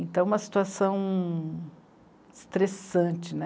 Então, uma situação estressante né.